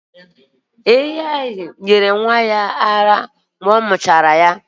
Ehi nyere nwa ehi ara ka ọ muchara ya